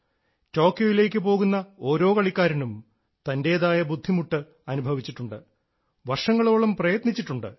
ടോക്കിയോയിലേക്കു പോകുന്ന ഓരോ കളിക്കാരനും തൻറേതായ ബുദ്ധിമുട്ട് അനുഭവിച്ചിട്ടുണ്ട് വർഷങ്ങളോളം പ്രയത്നിച്ചിട്ടുണ്ട്